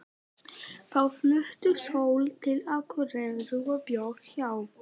Þá flutti Sóla til Akureyrar og bjó hjá